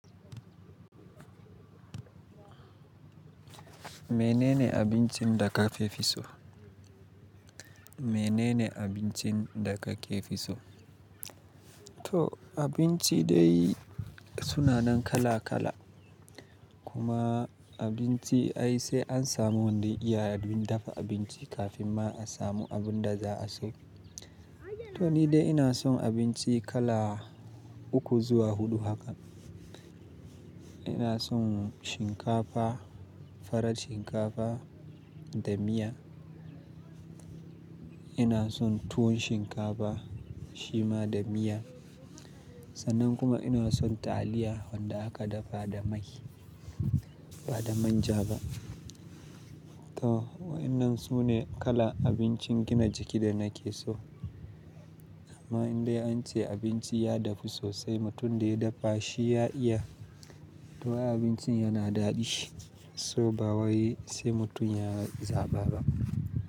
Menene abincin da ka fi fi so? Menene abincin da ka ke fi so? To abinci dai suna nan kala kala. Kuma abinci ai sai an samu wanda iya dafa abinci kafin ma a samu abin da za a so. To ni dai ina son abinci kala uku zuwa huɗu haka. Ina son shinkafa, farar shinkafa da miya. Ina son tuwon shinkafa shima da miya. Sannan kuma ina son taliya wanda aka dafa ba da mai, ba da manja ba. To wa'inan su ne kala abincin gina jiki da na ke so. Amma inda an ce abinci ya dafu sosai, mutum da ya dafa shi ya iya. To ai abincin yana daɗi, so ba wai sai mutum ya yi zaɓa ba.